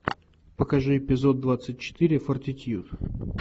покажи эпизод двадцать четыре фортитьюд